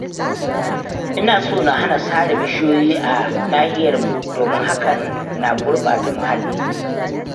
Ina so na hana sare bishiyoyi a nahiyarmu domin hakan na gurɓata muhalli